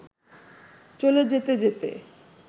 চলে যেতে যেতে